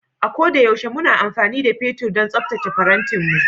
A ko da yaushe muna amfani da fetur don tsaftace farantinmu